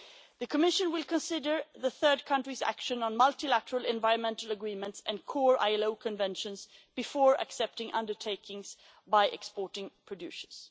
system. The Commission will consider third countries' action on multilateral environmental agreements and core ILO Conventions before accepting undertakings by exporting producers.